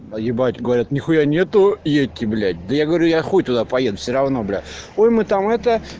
поебать говорят нихуя нету едьте блять да я говорю я хуй туда поеду все-равно блять ой мы там это